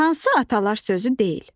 Hansı atalar sözü deyil?